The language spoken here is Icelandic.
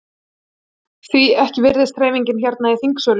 Því ekki virðist hreyfingin hérna í þingsölum?